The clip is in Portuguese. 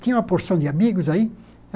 Tinha uma porção de amigos aí.